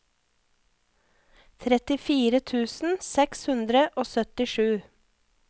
trettifire tusen seks hundre og syttisju